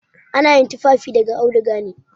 Ana yin tufafi daga auduga ne.